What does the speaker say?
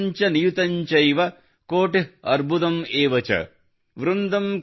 ಲಕ್ಷಂ ಚ ನಿಯುತಂ ಚೈವ ಕೋಟಿ ಅರ್ಬುದಮ್ ಎವ ಚ ||